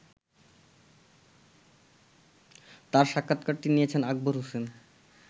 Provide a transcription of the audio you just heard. তার সাক্ষাৎকারটি নিয়েছেন আকবর হোসেন।